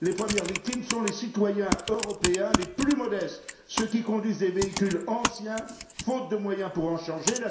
Les premières victimes sont les citoyens européens les plus modestes, ceux qui conduisent des véhicules anciens, faute de moyens pour en changer.